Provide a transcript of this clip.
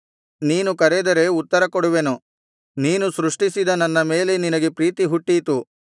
ನೀನು ಕರೆದರೆ ಉತ್ತರಕೊಡುವೆನು ನೀನು ಸೃಷ್ಟಿಸಿದ ನನ್ನ ಮೇಲೆ ನಿನಗೆ ಪ್ರೀತಿ ಹುಟ್ಟೀತು